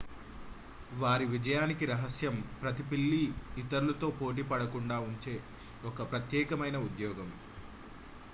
వారి విజయానికి రహస్యం ప్రతి పిల్లి ఇతరులతో పోటీ పడకుండా ఉంచే ఒక ప్రత్యేకమైన ఉద్యోగం